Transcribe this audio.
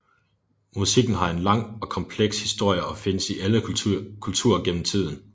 Musikken har en lang og kompleks historie og findes i alle kulturer gennem tiden